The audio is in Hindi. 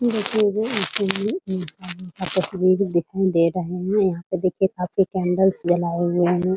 ई देखिये आपस में बिल्डिंग दिखाई दे रहे हैं यहाँ पर देखिए काफी कैंडलस जलाये हुए हैं ।